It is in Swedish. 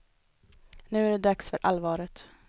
Nu är det dags för allvaret.